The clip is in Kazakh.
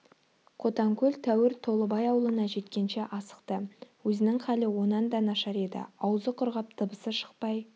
қотанкөл тәуір толыбай аулына жеткенше асықты өзінің халі онан да нашар еді аузы құрғап дыбысы шықпай